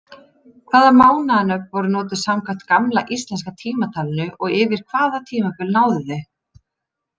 Hvaða mánaðanöfn voru notuð samkvæmt gamla íslenska tímatalinu og yfir hvaða tímabil náðu þau?